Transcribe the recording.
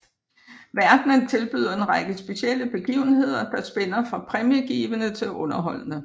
Verdenen tilbyder en række specielle begivenheder der spænder fra præmiegivende til underholdende